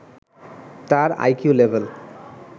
তার IQ level